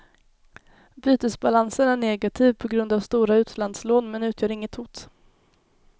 Bytesbalansen är negativ på grund av stora utlandslån men utgör inget hot.